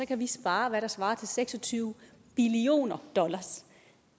kan vi spare hvad der svarer til seks og tyve billioner dollar